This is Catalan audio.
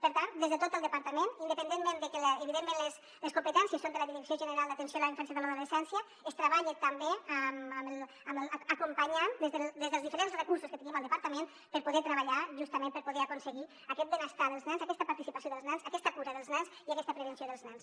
per tant des de tot el departament independentment de que evidentment les competències són de la direcció general d’atenció a la infància i a l’adolescència es treballa també acompanyant des dels diferents recursos que tenim al departament per poder treballar justament per poder aconseguir aquest benestar dels nens aquesta participació dels nens aquesta cura dels nens i aquesta prevenció dels nens